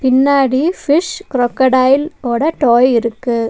முன்னாடி fish crocodile ஓட toy இருக்கு.